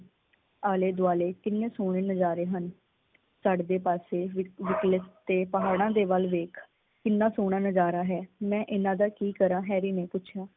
ਆਲੇ ਦੁਆਲੇ ਕਿੰਨੇ ਸੋਹਣੇ ਨਜ਼ਾਰੇ ਹਨ। ਚੜਦੇ ਪਾਸੇ ਵਿਕਲਸ ਤੇ ਪਹਾੜਾਂ ਦੇ ਵੱਲ ਵੇਖ ਕਿੰਨਾ ਸੋਹਣਾ ਨਜ਼ਾਰਾ ਹੈ। ਮੈ ਇਹਨਾਂ ਦਾ ਕੀ ਕਰਾਂ, ਹੈਰੀ ਨੇ ਪੁੱਛਿਆ।